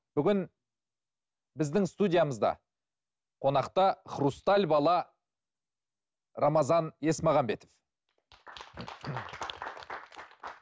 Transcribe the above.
бүгін біздің студиямызда қонақта хрусталь бала рамазан есмағанбетов